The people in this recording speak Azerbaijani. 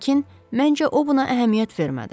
Lakin məncə, o buna əhəmiyyət vermədi.